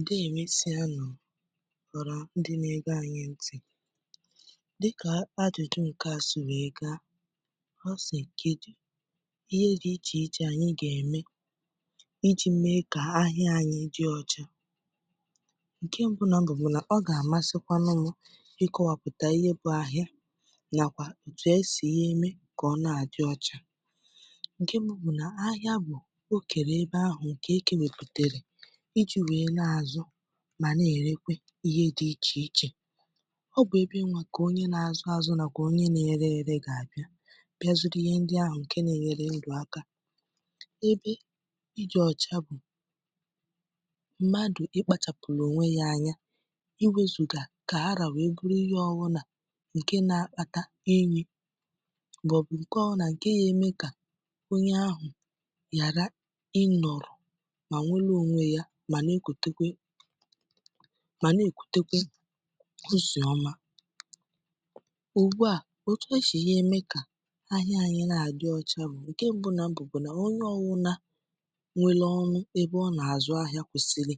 Ndeè emesịa nu oha ndị nà-ege anyị ntị̀, Dịkà àjụ̇jụ, ǹke a si wee gaa, ha si kedu ihe dị̇ ichè ichè, anyị gà-ème, iji̇ mee kà ahịa anyị di ọcha. Nkè mbụ̇nọ̇ bụ̀ bụ̀ nà ọ gà-àmasịkwa mmụ̇ ịkọ̇wàpụ̀tà ihe bụ̇ ahịa, nàkwà òtù esì ihe eme kà ọ na-àdị ọcha. Nkè mbụ̇ bụ̀ nà ahịa bụ̀ o kere ebe ahụ nke ekewaputere, iji̇ wèe na-àzụ mà na-èrekwa ihe dị ichè ichè. Ọ bụ̀ ebe nke onye nà-azụ azụ, nàkwà onye na-ere ere, gà-àbịa bịazụrụ ihe ndị ahụ̀, ǹkè na-enyere ndụ̀ aka. Ebe ịdị ọ̀cha bụ̀ mmadụ̀ ịkpȧchàpụ̀rụ̀ onwe yȧ anya, iwėzùgà kà ara wèe goro ihe ọwụ̇ nà, ǹkè nà-àkpata enyi. M’ọbu ǹkè ọbunà, ǹke ga eme kà onye ahụ̀ ghàra inoro ma nwere onwe ya na-èkutekwa, mà na-èkutekwa ụsì ọma. Ugbu à, etu esi eme kà ahịa anyị̇ na-adị ọcha bụ̀ ǹke mbụ na mbụ̀ bụ̀ nà onye ọwụna nwela ọṅụ ebe ọ nà-àzụ ahịa, kwèsìlì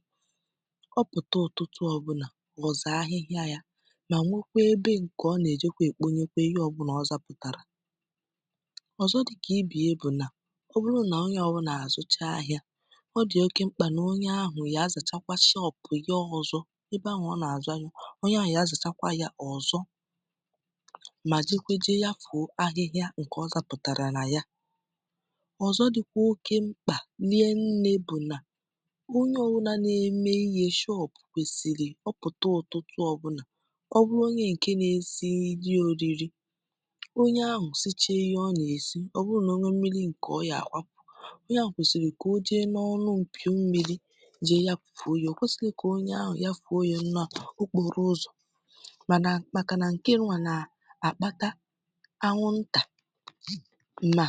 ọ pụ̀ta ọ̀tụtụ ọbụlà ọzaa ahịhịa ya mà nwekwaa ebe ǹkè ọ nà-èjekwa èkponye kwa ihe ọbụlà ọ zàpụ̀tàrà. Ọzọ dịkà ibe ya bụ̀ nà ọ bụrụ nà onye ọbụlà àzụcha ahịa, ọ dị̀ oké nkpa na onye ahụ̀ ya azàchakwa shop ya ọzọ̇. ebe ahụ̀ ọ nà-àzu ahịa, onye ahụ̀ ga azàchakwa yȧ ọzọ, mà jekwaa je ya fụ̀ọ ahịhịa ǹkè ọzọ pụ̀tàrà nà yà. Ọ̀zọ dị̀kwà oke mkpà, rie nne bụ̀ nà onye ọbu na-eme ihe shop, kwèsìrì ọ pụ̀tụ ọ̀tụtụ, ọbụnà ọ bụrụ onye ǹke na-esi nri oriri, onye ahụ̀ siche ihe ọ nà-esi, ọ bụrụ̀ nà onwe mmiri ǹkè ọ yà-àkwapụ̀, onye ahụ kwesịrị ka oje na ọnụ mpi ọ mmiri, je ya fùo yȧ. Ọ kwẹsìghi̇ kà onye ahụ̀ ya fùo yȧ nà okpọ̀rọ̀ ụzọ̀. mànà màkà nà ǹkẹ nwà nà àkpata anwụ ntà nà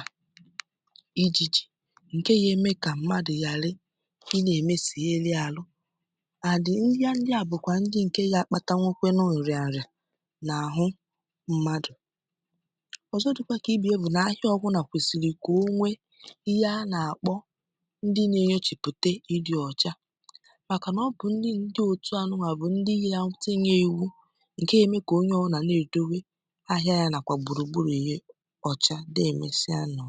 ịjị̇ jị̀, ǹkẹ ga eme kà mmadù ghàra ị nà èmesì elu̇ àlụ. And Ihe ndị à bùkwà ndị ǹkẹ na àkpata kwanu nriàrìà nà àhụ mmadụ̀. Ọ̀zọ dị̀kwà kà ibè ya bụ̀ nà ahịa ọbu nà kwẹsị̀lị̀ kà o nwẹ ihe a nà àkpọ ǹdi na enyocha pụta ịdị ọcha maka na ọbụ ndị otu anụnwa bu ndị ga etinye iwu nke ga eme kà onye ọbụna na-edo we ahịa ya nàkwà gbùrùgburù ya ọ̀ chà. Nde emesịa nu.